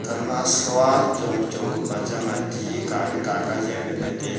aga ma shua chong wai chong ka pa chang a ti kawai ka jan ley tai a.